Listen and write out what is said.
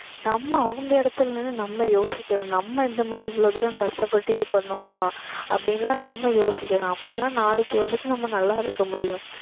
நம்ம அவங்க இடத்துல நின்னு நம்ம யோசிக்கணும் நம்ம இந்த மாதிரி இவ்வளவு தூரம் கஷ்டப்பட்டு இது பண்ணுவோமா அப்படின்னு எல்லாம் நம்ம யோசிக்கணும் அப்பதான் நாளைக்கு வந்துட்டு நம்ம நல்லா இருக்க முடியும்